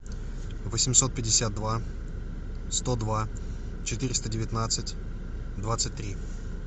восемьсот пятьдесят два сто два четыреста девятнадцать двадцать три